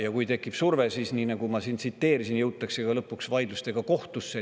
Ja kui tekib surve, siis nii nagu ma, jõutakse lõpuks vaidlustega kohtusse.